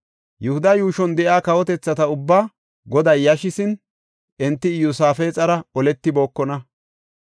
Yihuda yuushon de7iya kawotethata ubbaa Goday yashisin, enti Iyosaafexara oletibookona.